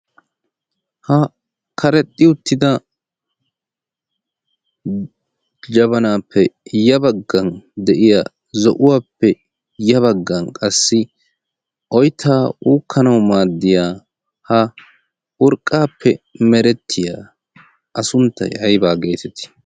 ha karexxi uttida jabanaappe ya baggan de7iya zo7uwaappe ya baggan qassi oittaa uukkanawu maaddiya ha urqqaappe merettiya asunttai aibaa geetetii?